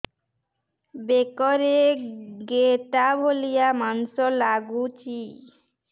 ବେକରେ ଗେଟା ଭଳିଆ ମାଂସ ଲାଗୁଚି